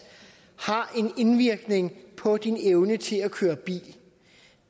har en indvirkning på ens evne til at køre bil